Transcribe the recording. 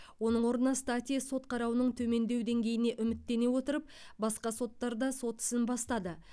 оның орнына стати сот қарауының төмендеу деңгейіне үміттене отырып басқа соттарда сот ісін бастады